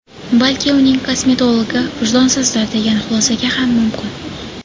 Balki, uning kosmetologi vijdonsizdir, degan xulosaga ham mumkin.